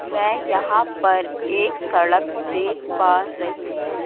मैं यहां पर एक सड़क देख पा रहीं हुं।